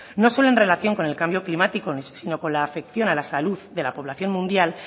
no solo en relación con el cambio climático sino con la afección a la salud de la población mundial